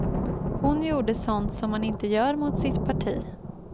Hon gjorde sånt som man inte gör mot sitt parti.